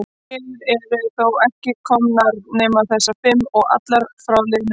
Hér eru þó ekki komnar nema þessar fimm. og allar frá liðnum vetri.